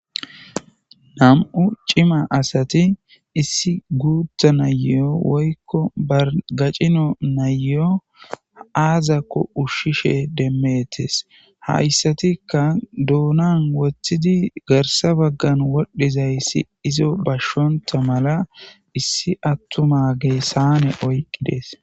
nam7u cima asati issi guutha nayo woykko bargacino nayo aazakko ushshishe demmetes hayssatikka duonan woththidi garsa baggan wodhizayssi izo bashshonta mala issi attuma gee saane oyqqidees